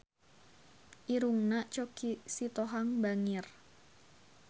Irungna Choky Sitohang bangir